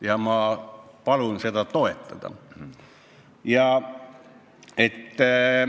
Ja ma palun seda toetada!